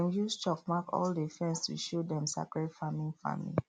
them use chalk mark all the fence to show dem sacred farming farming